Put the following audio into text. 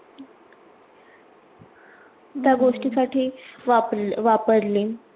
त्या गोष्टीसाठी वापर वापरली.